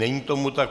Není tomu tak.